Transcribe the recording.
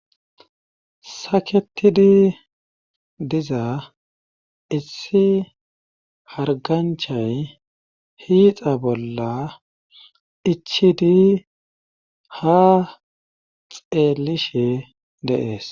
saketidi diza issi harganchay hiixa bolla ichidi ha xeelishe deees